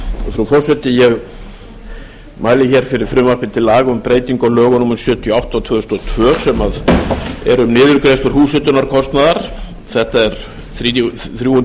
frú forseti ég mæli fyrir frumvarpi til laga um breytingu á lögum númer sjötíu og átta tvö þúsund og tvö sem eru niðurgreiðsla húshitunarkostnaðar þetta er þrjú hundruð nítugasta